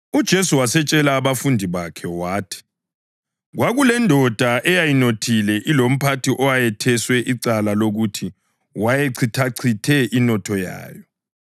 UJesu watshela abafundi bakhe wathi, “Kwakulendoda eyayinothile ilomphathi owetheswa icala lokuthi wayechithachithe inotho yayo.